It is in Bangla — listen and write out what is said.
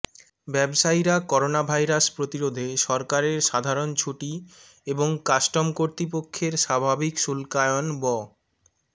ব্যবসায়ীরা করোনাভাইরাস প্রতিরোধে সরকারের সাধারণ ছুটি এবং কাস্টম কর্তৃপক্ষের স্বাভাবিক শুল্কায়ন ব